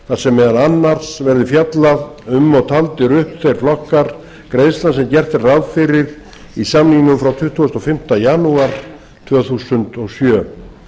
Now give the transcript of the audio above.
þar sem meðal annars verði fjallað um og taldir upp þeir flokkar greiðslna sem gert er ráð fyrir í samningnum frá tuttugasta og fimmta janúar tvö þúsund og sjö